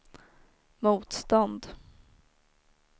motstånd